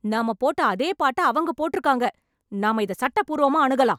நம்ம போட்ட அதே பாட்ட அவங்க போட்ருக்காங்க, நாம இத சட்டப்பூர்வமா அணுகலாம்.